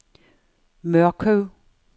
Mørkøv